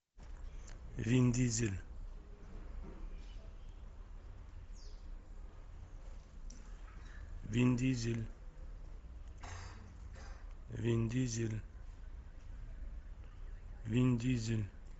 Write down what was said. вин дизель вин дизель вин дизель вин дизель